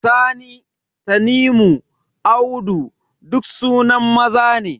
Sani, Tanimu, Audu duk sunan maza ne.